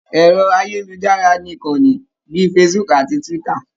Ẹ̀rọ-ayélujára ní ìkanni bíi Facebook àti Twitter.